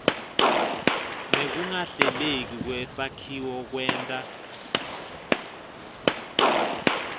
nekungahleleki kwesakhiwo kwenta